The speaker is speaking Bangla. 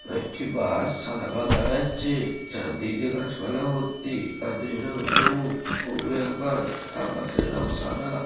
একটি বাস সাদা কালার দেখা যাচ্ছে চার দিক দিয়ে গাছ পালাই ভর্তি গাছের রং সবুজ ও আকাশ আকাশ এর রং সাদা ।